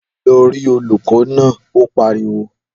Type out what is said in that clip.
Lọ rí olùkọ́ náà! Ó pariwo.